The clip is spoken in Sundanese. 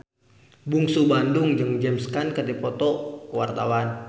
Bungsu Bandung jeung James Caan keur dipoto ku wartawan